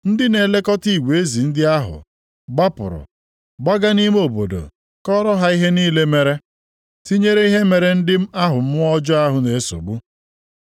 Ndị na-elekọta igwe ezi ndị ahụ gbapụrụ gbaga nʼime obodo kọọrọ ha ihe niile mere; tinyere ihe mere ndị ahụ mmụọ ọjọọ na-esogbu.